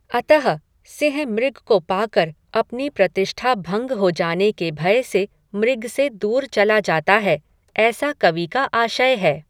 अतः सिंह मृग को पाकर अपनी प्रतिष्ठा भंग हो जाने के भय से मृग से दूर चला जाता है, ऐसा कवि का आशय है।